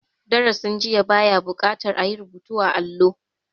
Darasin jiya ba ya buƙatar a yi rubutu a allo.